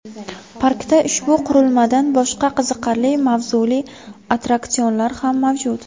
Parkda ushbu qurilmadan boshqa qiziqarli mavzuli attraksionlar ham mavjud.